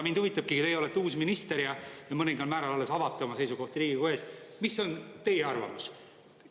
Mind huvitabki: teie olete uus ministe ja mõningal määral alles avate oma seisukohti Riigikogu ees, mis on teie arvamus?